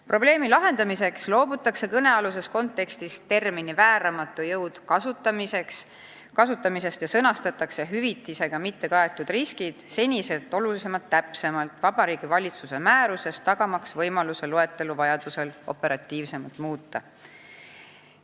Probleemi lahendamiseks loobutakse kõnealuses kontekstis termini "vääramatu jõud" kasutamisest ja sõnastatakse hüvitisega mittekaetud riskid senisest oluliselt täpsemalt Vabariigi Valitsuse määruses, et tagada võimalus loetelu vajaduse korral operatiivsemalt muuta.